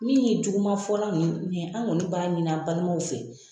Min ye Juguma fɔla ninnu ye, an kɔni b'a ɲini a balimaw fɛ